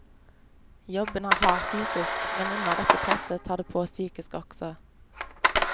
Jobben er hard fysisk, men under dette presset tar det på psykisk også.